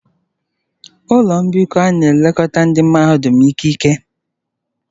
Ụlọ mbikọ a na-elekọta ndị mahadum ikike.